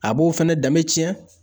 A b'o fɛnɛ, dɛmɛ tiɲɛ.